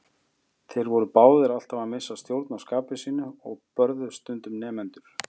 Þeir voru báðir alltaf að missa stjórn á skapi sínu og börðu stundum nemendur.